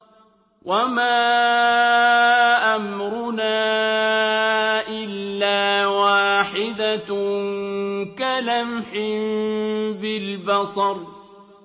وَمَا أَمْرُنَا إِلَّا وَاحِدَةٌ كَلَمْحٍ بِالْبَصَرِ